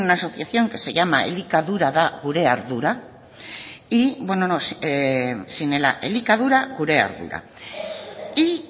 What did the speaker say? una asociación que se llama elikadura gure ardura y